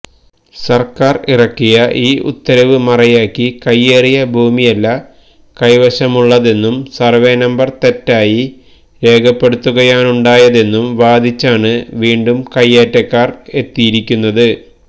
സർക്കാർ ഇറക്കിയ ഈ ഉത്തരവ് മറയാക്കി കൈയേറിയ ഭൂമിയല്ല കൈവശമുള്ളതെന്നും സർവേനമ്പർ തെറ്റായി രേഖപ്പെടുത്തുകയാണുണ്ടായതെന്നും വാദിച്ചാണ് വീണ്ടും കയ്യേറ്റക്കാർ എത്തിയിരിക്കുന്നത്